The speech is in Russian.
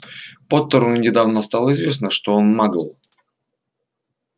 поттеру недавно стало известно что он магл